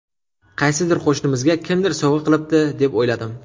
Qaysidir qo‘shnimizga kimdir sovg‘a qilibdi, deb o‘yladim.